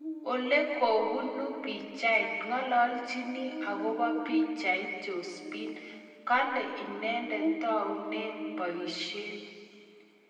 Olekoobuunu pichait, ng'alaalchinii akobo pichait Josephine, kale ineendet taunee pooishek